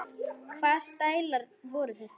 Hvaða stælar voru þetta?